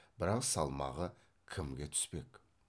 бірақ салмағы кімге түспек